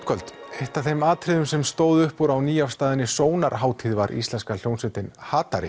kvöld eitt af þeim atriðum sem stóðu upp úr á nýafstaðinni sónar hátíð var íslenska hljómsveitin